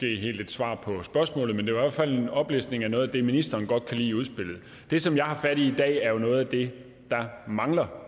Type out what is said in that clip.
helt et svar på spørgsmålet men det var i hvert fald en oplistning af noget det ministeren godt kan lide i udspillet det som jeg har fat i i dag er jo noget af det der mangler